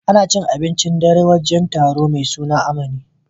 Ana cin abincin dare a wajen taro mai suna Amani.